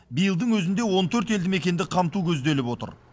биылдың өзінде он төрт елді мекенді қамту көзделіп отыр